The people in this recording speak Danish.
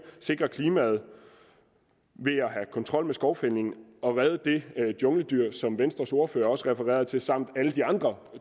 sikre klimaet ved at have kontrol med skovfældningen og redde det jungledyr som venstres ordfører også refererede til samt alle de andre